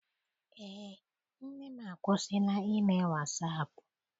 Eé, nne m akwụsila ime wasaapụ.